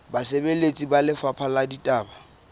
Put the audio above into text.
basebeletsi ba lefapha la ditaba